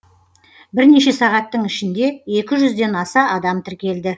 бірнеше сағаттың ішінде екі жүзден аса адам тіркелді